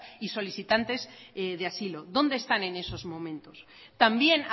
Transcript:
y solicitantes de asilo dónde están en esos momentos también